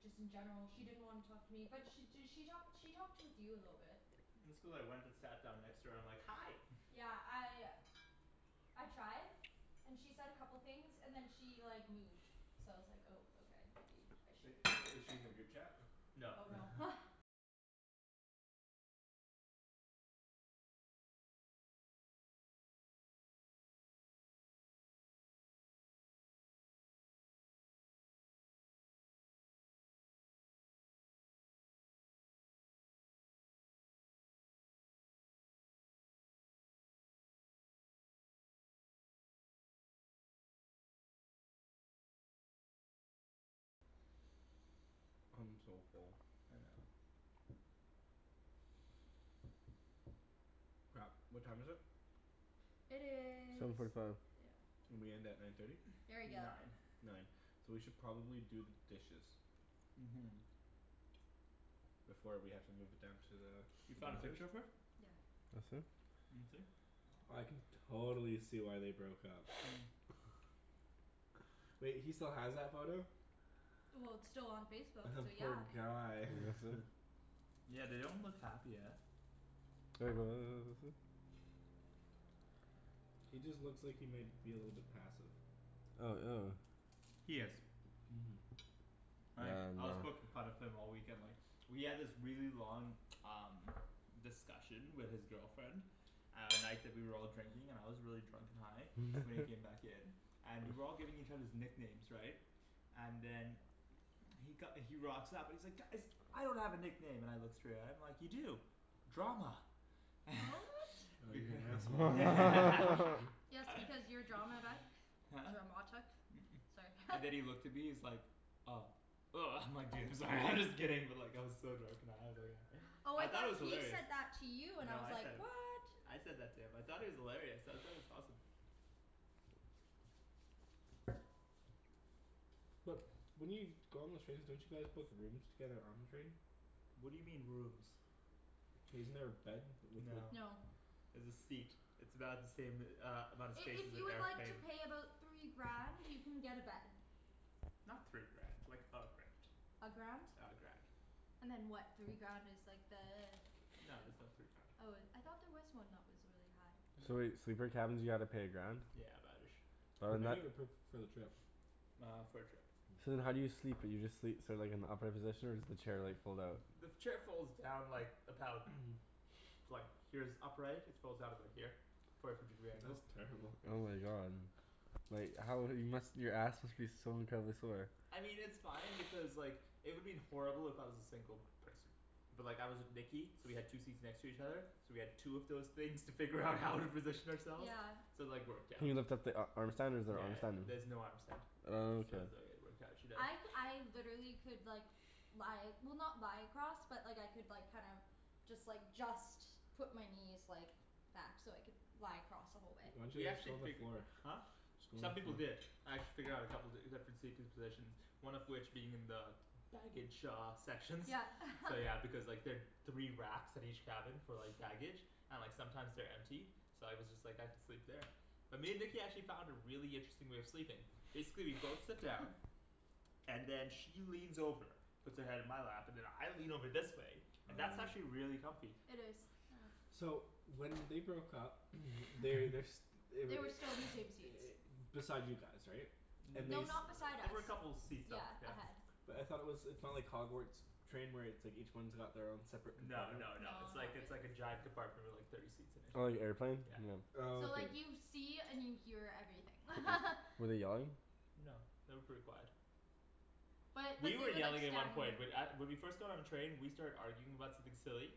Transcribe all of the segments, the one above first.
Just in general she didn't wanna talk to me. But she d- she talked she talked with you a little bit. It's cuz I went and sat down next to her, I'm like "Hi." Yeah, I I tried. And she said a couple things, and then she like moved. So I was like oh okay, maybe I But shouldn't i- is she in the group chat? No. Oh no. I'm so full. I know. Crap. What time is it? It Seven is forty five. Yeah. We end at nine thirty? Very good. Nine. Nine. So we should probably do the dishes. Mhm. Before we have to move it down to the You found a picture of her? Yeah. That's it? Let me see. I can totally see why they broke up. Wait, he still has that photo? Well it's still on Facebook, The so poor yeah. guy. Yeah they don't look happy, eh? He just looks like he might be a little bit passive. Oh, ew. He is. Mhm. Like, Damn I was man. poking fun of him all weekend, like We had this really long um discussion with his girlfriend at night that we were all drinking, and I was really drunk and high. So when he came back in and we were all giving each others nicknames, right? And then he co- he rocks up and he's like "Guys!" "I don't have a nickname." And I look straight at him, I'm like, "You do. Drama." Oh you're an asshole. Yes because you're drama, right? Huh? Dramatic? It's like And then he looked at me, he's like, "Oh." Woah I'm like, "Dude I'm sorry, I'm just kidding." But like I was so drunk and high I was like uh Oh I I thought thought it was he hilarious. said that to you, and I No was I like, said it. what? I said that to him. I thought it was hilarious, I thought it was awesome. But, when you go on the trains don't you guys book rooms together on the train? What do you mean rooms? Isn't there a bed? No. No. There's a seat. It's about the same uh amount of I- space if as an you would like to airplane. pay about three grand, you can get a bed. Not three grand. Like a grand. A grand? Yeah, a grand. And then what, three grand is like the No there's no three grand. Oh it, I thought there was one that was really high. So wait, sleeper cabins you gotta pay a grand? Yeah about ish. Oh Per and that night or per, for the trip? Uh for the trip. So then how do you sleep, do you just sleep so like in the upright position? Or does the chair like fold out? The chair folds down like, about like, here's upright, it folds out about here. Forty five degree angles. That's terrible. Oh my god. Like how, you must, your ass must be so incredibly sore. I mean it's fine because like, it would have been horrible if I was a single person. But like I was with Nikki, so we had two seats next to each other. So we had two of those things to figure out how to position ourselves. Yeah. So like worked Can out. you lift up the a- arm stand, or is there an Yeah arm stand? there's no arm stand. Oh, So okay. it was like it worked out, I c- I literally could like lie, well not lie across, but like I could like kinda just like, just put my knees like back so I could lie across the whole way. Why didn't We you just actually go on the figu- floor? Huh? Just go on the Some people floor. did. I had to figure out a couple, different seating positions. One of which being in the baggage shaw sections. Yeah. So yeah because like there three racks at each cabin for like baggage and like sometimes they're empty. So I was just like, I could sleep there. But me and Nikki actually found a really interesting way of sleeping. Basically we'd both sit down. And then she leans over. Puts her head in my lap. And then I lean over this way. And that's actually really comfy. It is, yeah. So when they broke up, they, they're s- They were They were still in the same seats. beside you guys, right? And they No, s- N- not beside They us. were a couple of seats up, Yeah. yeah. Ahead. But I thought it was, it's not like Hogwarts train where it's like each one's got their own separate No compartment? no no, No, it's like not it's like a really. giant compartment with like thirty seats in it. Oh you airplaned? Yeah. Oh So okay. like you see and you hear everything. Were they yelling? No. They were pretty quiet. But, but You were they were like yelling at one standing point, but at- when we first got on the train we started arguing about something silly.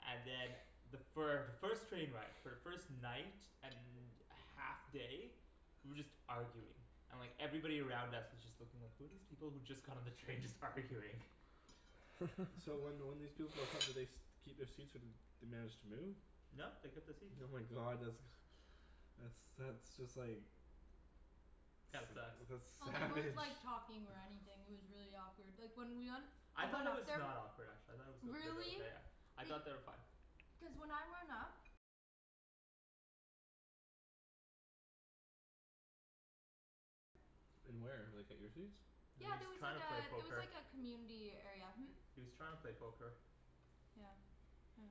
And then the fir- the first train ride, for the first night and half day we were just arguing. And like, everybody around us was just looking like, who are these people who just got on the train just arguing? So when when these people broke up, did they st- keep their seats or they managed to move? No they kept the seats. Oh my god, that's that's that's just like That sucks. that's Well, they savage. weren't like talking or anything, it was really awkward. Like when we went I thought it was not awkward actually. I thought it was mid- Really? okay. I Be- thought they were fine. Cuz when I went up In where, like at your seats? He Yeah was there was trying like to a, play there was poker. like a community area, hm? He was trying to play poker. Yeah. Yeah.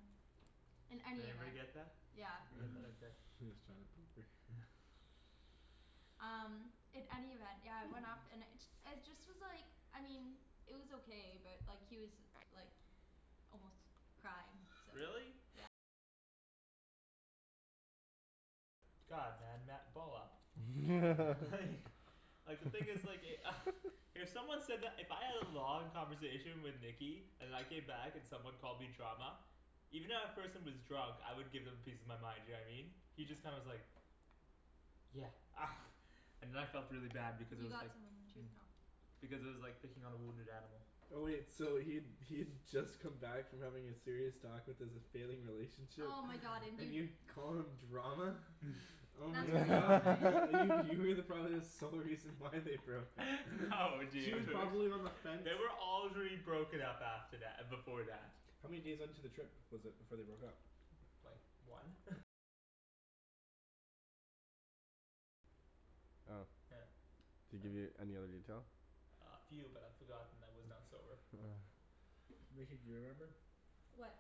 In Did any everybody event. get that? Yeah. You got that up there. He was trying to poke her. Um, in any event, yeah it went off, and it ju- it just was like, I mean it was okay but like he was like almost crying, so Really? God, man, ma- ball up. Like Like the thing is like e- If someone said that, if I had a long conversation with Nikki and I came back and someone called me drama even if that person was drunk, I would give them a piece of my mind, you know what I mean? He just kinda was like "Yeah." And then I felt really bad because I You was got like some on your tooth now. because it was like picking on a wounded animal. Oh wait, so he'd he'd just come back from having a serious talk with his failing relationship, Oh my god and and you you call him drama? Oh That's my really not god. nice. You were probably the sole reason why they broke up. No She was dude. probably on the fence. They were already broken up after tha- before that. How many days into the trip was it before they broke up? Like one? Oh. Yeah. Did he give you any other detail? Uh a few but I forgot and I was not sober. Oh. Nikki, do you remember? What?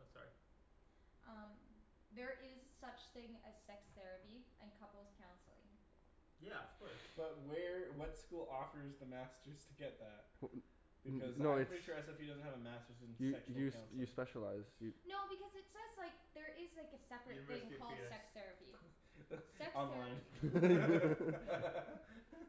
Oh sorry. Um There is such thing as sex therapy and couples' counseling. Yeah, of course. But where, what school offers the masters to get that? Because No, I'm it's pretty sure SFU doesn't have a masters in You sexual you you counseling. specialize, you No, because it says like, there is like a separate thing University of called penis. sex therapy. Sex Online. therapy.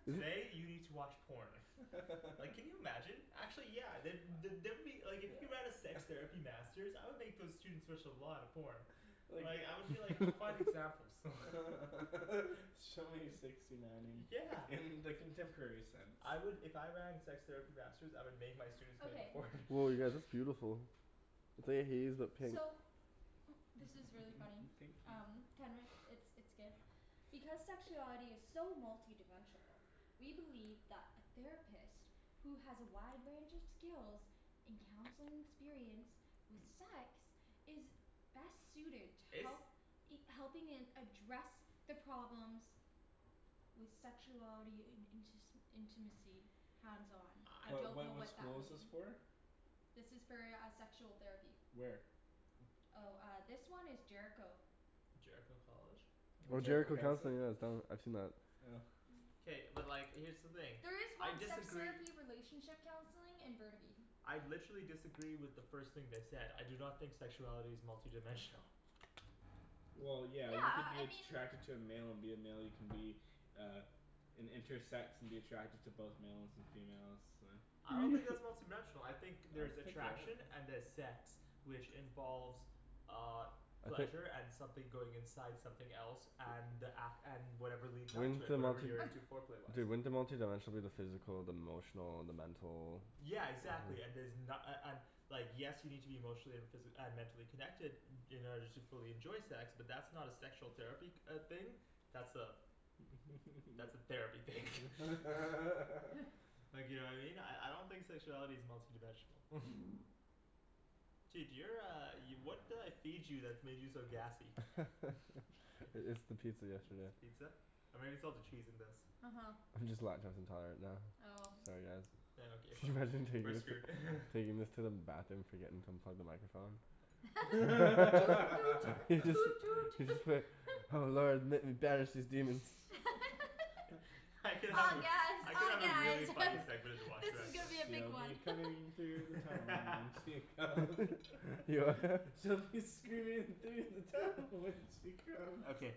Today you need to watch porn. Like can you imagine? Actually yeah, the- the- there would be, like if you have a sex Yeah. therapy masters, I would make those students watch a lot of porn. Like Like I would be like, go find examples. Show me sixty nineing Yeah. in the contemporary sense. I would, if I ran a sex therapy masters, I would make my students make a Okay. porn. Woah you guys, that's beautiful. pink. So this is really funny. Pink you. Um it's it's good. Because sexuality is so multidimensional we believe that a therapist who has a wide range of skills in counseling experience with sex is best suited to It's help helping in address the problems with sexuality in intis- intimacy. Hands on. I I What don't what know what what that school is this mean. for? This is for uh sexual therapy. Where? Oh uh this one is Jericho. Jericho College? No, Oh Jericho Jericho Counseling. Counseling, yeah it's done, I've seen that. Oh. K, but like here's the thing. There is I one sex disagree therapy relationship counseling in Burnaby. I literally disagree with the first thing they said. I do not think sexuality is multidimensional. Well yeah, Yeah you could uh be I mean attracted to a male and be a male, you can be uh an intersex and be attracted to both males and females, uh I don't think that's multidimensional. I think there's attraction and there's sex. Which involves uh Okay pleasure and something going inside something else, and ac- and whatever leads up to Wouldn't it, the whatever multi- you're into foreplay-wise. Dude, wouldn't the multidimensional be the physical, the emotional, and the mental Yeah exactly and there's na- a- an- Like yes you need to be emotionally and physi- uh mentally connected in order to fully enjoy sex, but that's not a sexual therapy uh thing. That's a that's a therapy thing. Like you know what I mean? I I don't think sexuality is multi dimensional. Dude you're uh, y- what did I feed you that made you so gassy? I- it's the pizza yesterday. Pizza? Or maybe it's all the cheese in this. Uh huh. I'm just lactose intolerant now. Oh. Sorry guys. Yeah okay fine, Imagine taking taking this to the bathroom forgetting to unplug the microphone. Toot toot toot toot. Just be like "Oh lord let me banish these demons." I could help Oh you. yes I could oh have a yeah really it's funny segment in the this washroom is actually. gonna be a big She'll be one. coming through the tunnel when she comes. She'll be screaming through the tunnel when she comes. Okay.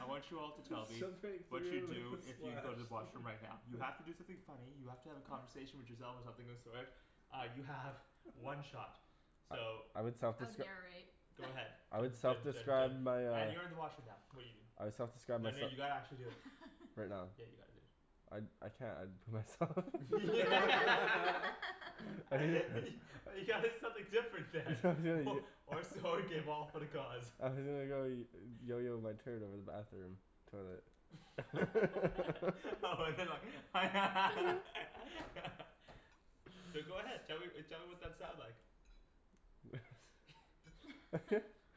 I want you all to tell me Some break what you'd through do with a if you splash. go to the washroom right now. You have to do something funny, you have to have a conversation with yourself or something of the sort Uh you have one shot. So I would I would self-descri- narrate. Go ahead. I would Dun dun dun self-describe dun my uh and you're in the washroom now I would self-describe Then myse- you gotta actually do it. Right now? Yeah you gotta do it. I I can't, I'd put myself You gotta do something different then. Or so you gave all for the cause. my turn over the bathroom. Toilet. Oh but they're like So go ahead. Tell me tell me what that sounds like.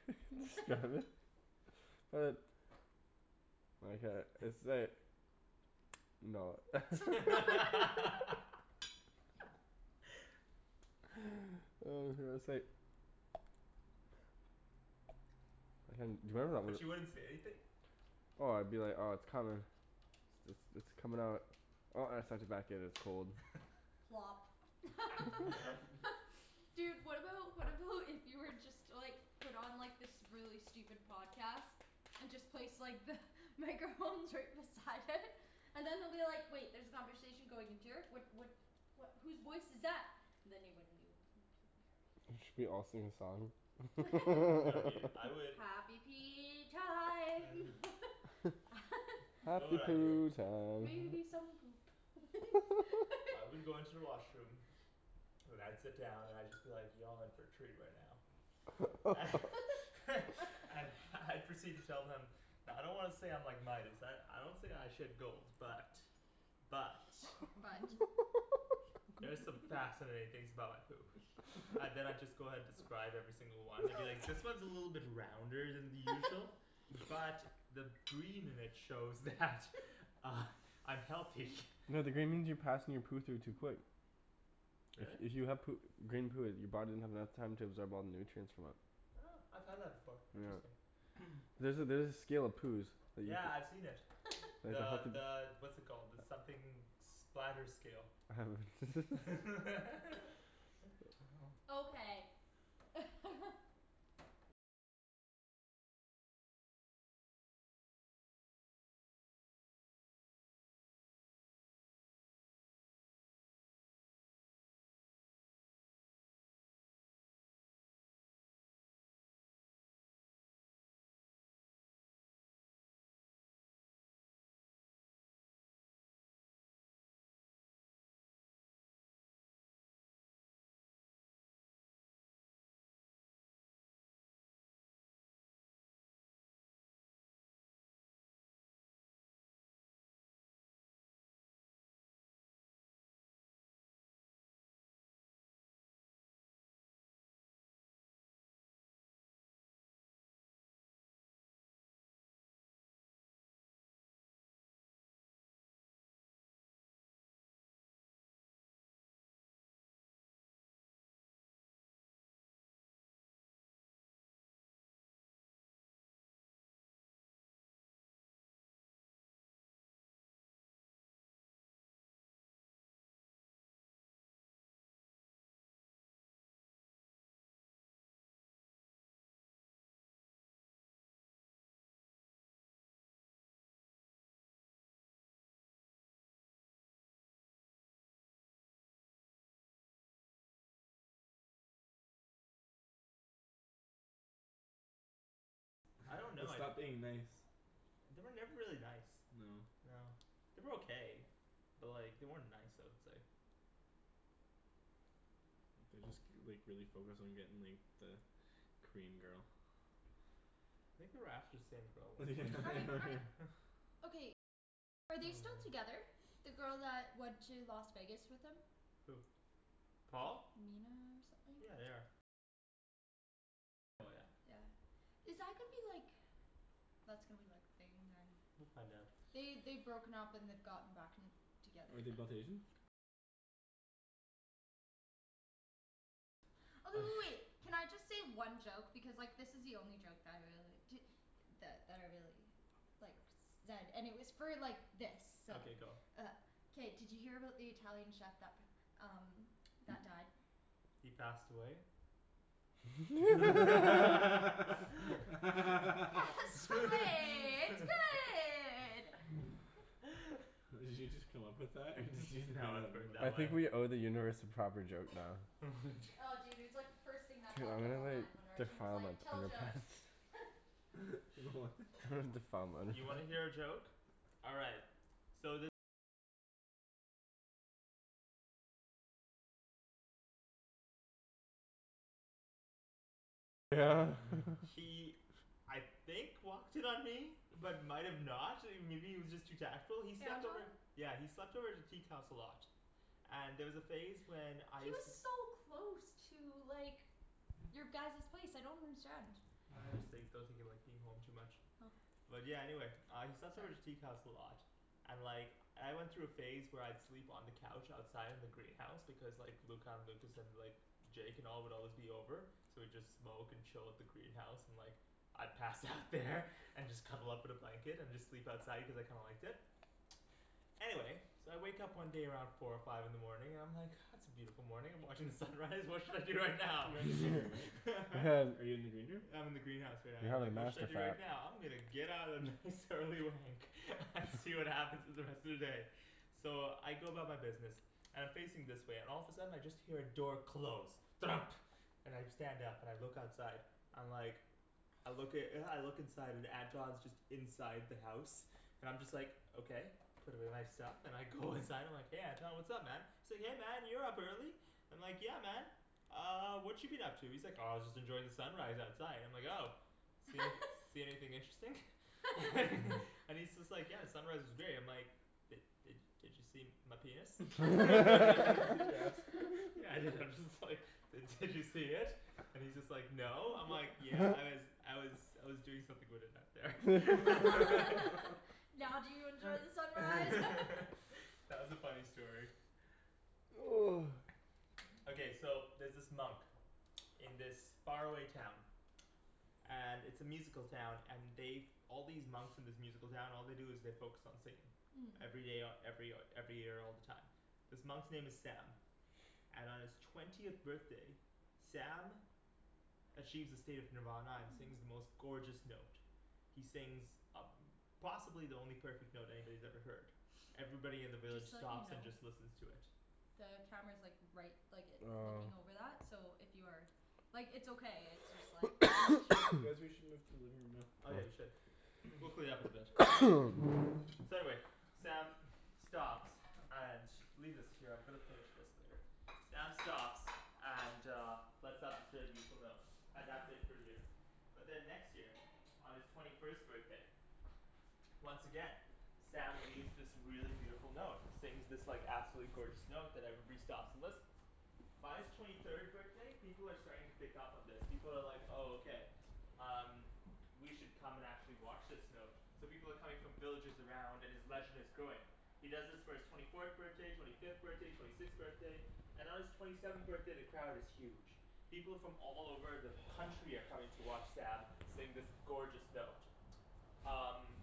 It's Uh No. Hey, do you remember that But you one wouldn't say anything? Oh I'd be like, oh it's coming. It's it's it's coming out. Oh I have such a Plop. Dude, what about, what about if you were just to like put on this really stupid podcast? And just place like the microphones right beside it. And then they'll be like "Wait there's a conversation going into here, what what" "what, whose voice is that?" And then they wouldn't know. Should we all sing a song? No dude, I would Happy pee time. You know Happy what I'd do poo time. Maybe some poop. I would go into the washroom then I'd sit down and I'd just be like, "Y'all in for a treat right now." And I'd proceed to tell them "I don't wanna say I'm like Midas, I I don't say I shit gold. But, but, But there's some fascinating things about my poop. And then I'd just go ahead describe every single one, I'd be like "This one is a little bit rounder than the usual." "But the green in it shows that I'm healthy." No the green means you're passing your poo through too quick. Really? If you have poo- green poo, your body doesn't have enough time to absorb all the nutrients from it. Huh, I've had that before. Yeah. Interesting. There's a there's a scale of poos that you Yeah, I've seen c- it. The the what's it called, the something splatter scale. Okay. I don't They know, I'd stopped being nice. They were never really nice. No. No. They were okay. But like they weren't nice I would say. They just k- like really focused on getting like the Korean girl. Think they were after the same girl at one point. Are they still together? The girl that went to Las Vegas with them? Who? Paul? Mina or something? Yeah, they are. Yeah. Is that gonna be like That's gonna be like thing then. We'll find out. They, they'd broken up and they'd gotten back and together. Are they both Asian? Oh w- w- wait. Can I just say one joke? Because like this is the only joke that I really, di- that that I really like zed, and it was for like this, so Okay go. Uh K, did you hear about the Italian chef that p- um that died? He passed away? Pasta way. It's good! Did you just come up with that or did you just No, I've know heard that I one. think we owe the universe a proper joke now. Oh dude, it was like the first thing that Dude I'm popped up gonna like, online when Arjan was defile like, my "Tell jokes." You know what? Defile mine. You wanna hear a joke? All right. He I think walked in on me. But might have not. I mean maybe he was just too tactful. He slept Anton? over Yeah, he slept over at the teak house a lot. And there was a phase when I He used was to so close to like your guys's place, I don't understand. I just think, I don't think he liked being home too much. Oh. But yeah, anyway. He slept over at the teak house a lot. And like I went through a phase where I'd sleep on the couch outside in the greenhouse, because like Luca and Lucas and like Jake and all would always be over. So we'd just smoke and chill at the greenhouse, and like I'd pass out there and just cuddle up in a blanket and just sleep outside cuz I kinda liked it. Anyway So I wake up one day around four or five in the morning, and I'm like "Ah it's a beautiful morning, I'm watching the sunrise, what should I do right now?" You're in the green room, right? Are you in the green room? I'm in the greenhouse right now. I'm Have a like "What should master I do fap. right now? I'm gonna get out a nice early wank and see what happens in the rest of the day." So I go about my business. And I'm facing this way, and all of a sudden I just hear a door close. Thunk. And I stand up and I look outside. I'm like I look i- I look inside, and Anton's just inside the house. I'm just like, okay. Put away my stuff and I go inside, I'm like "Hey Anton, what's up man?" Say "Hey man, you're up early." I'm like, "Yeah man." "Uh what you been up to?" He's like "Oh just enjoying the sunrise outside." I'm like "Oh." "See anyth- see anything interesting?" And he's just like, "Yeah, the sunrise was great." And I'm like "Did did did you see my penis?" Did you ask "Yeah I did." I'm just like "Did did you see it?" And he's just like "No." I'm like "Yeah, I was I was I was doing something with it out there." Now do you enjoy the sunrise? That was a funny story. Okay, so there's this monk in this far away town. And it's a musical town, and they've All these monks in this musical town, all they do is they focus on singing. Mmm. Every day, o- every o- every year all the time. This monk's name is Sam. And on his twentieth birthday Sam achieves a state of nirvana and sings the most gorgeous note. He sings a- possibly the only perfect note anybody's ever heard. Everybody in the village Just to let you stops and know just listens to it. the camera's like right, like it, Oh. looking over that, so if you are Like it's okay, it's just like Guys we should move to the living room now. Oh yeah we should. We'll clean it up eventually. So anyway. Sam stops. And, leave this here, I'm gonna finish this later. Sam stops and uh And that's it for a year. But then next year, on his twenty first birthday once again Sam leaves this really beautiful note, and sings this like absolutely gorgeous note that everybody stops and listens. By his twenty third birthday, people are starting to pick up on this. People are like "Oh okay, um, we should come and actually watch this note." So people are coming from villages around, and his legend is growing. He does this for his twenty fourth birthday, twenty fifth birthday, twenty sixth birthday. And on his twenty seventh birthday the crowd is huge. People from all over the country are coming to watch Sam sing this gorgeous note. Um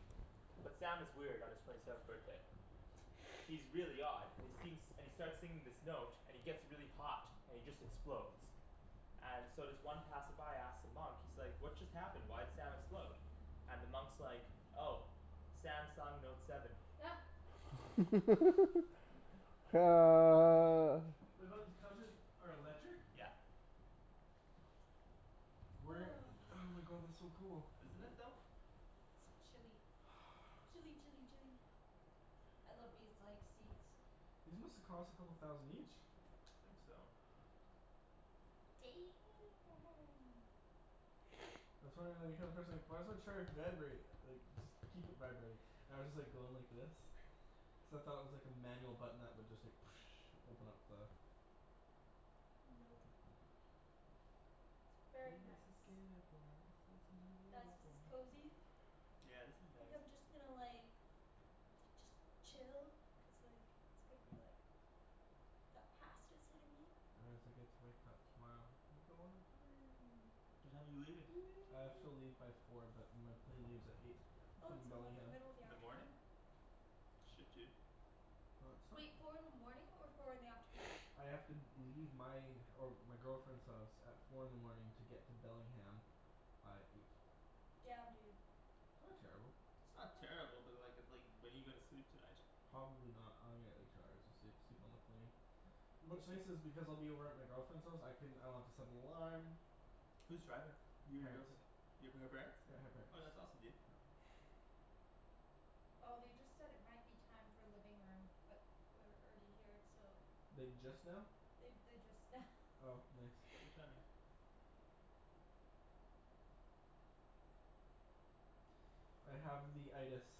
But Sam is weird on his twenty seventh birthday. He's really odd, and he seems, and he starts singing this note, and he gets really hot, and he just explodes. And so this one passerby asks the monk, he's like "What just happened? Why'd Sam explode?" And the monk's like, "Oh. Sam sung note seven." these couches are electric? Yeah. Where, oh my god, that's so cool. Isn't it though? It's chilly. Chilly chilly chilly. I love these like seats. These must have cost a couple thousand each. I think so. why does my chair vibrate, like just keep it vibrating. I was just like going like this. except I thought it was like a manual button that would just like open up the Nope. It's He very was a nice. skater boy, I said see you Guys, later this is boy. cozy. Yeah, this is Think nice. I'm just gonna like da- just chill. Cuz like, it's gonna be like That pasta's hitting me. get to wake up tomorrow and go on a plane. What time are you leaving? I have to leave by four but my plane leaves at eight. Oh From it's in like the Bellingham. middle of the In the morning? afternoon. Shit dude. No, it's fine Wait, dude. four in the morning or four in the afternoon? I have to leave my, or my girlfriend's house at four in the morning to get to Bellingham by eight. Damn, dude. Not terrible. It's not terrible, but like, it's like when are you gonna sleep tonight? Probably not. I'm gonna get like two hours of sleep. Sleep on the plane. What's What's nice this? is because I'll be over at my girlfriend's house, I can, I don't have to set an alarm. Who's driving? You or your Parents. girlfriend? You up at her parents'? Yeah, her parents. Oh that's awesome dude. Oh they just said it might be time for living room, but we're already here, so Like just now? They they, just now. Oh nice. Good timing. I have the